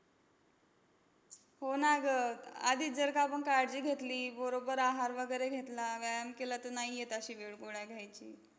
हो ना गं. आधीच जर का आपण काळजी घेतली, बरोबर आहार वगैरे घेतला, व्यायाम केला, तर नाही येत अशी वेळ गोळ्या घ्यायची.